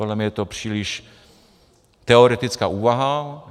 Podle mě je to příliš teoretická úvaha.